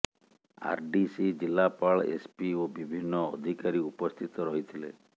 ଆର D C ଜିଲ୍ଲାପାଳ SP ଓ ବିଭିନ୍ନ ଅଧିକାରୀ ଉପସ୍ଥିତ ରହିଥିଲେ